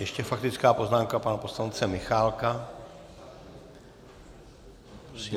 Ještě faktická poznámka pana poslance Michálka.